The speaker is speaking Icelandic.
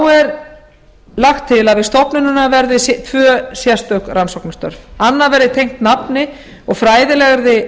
þá er lagt til að við stofnunina verði tvö sérstök rannsóknarstörf annað verði tengt nafni og fræðilegri